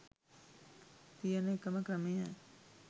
තියන එකම ක්‍රමය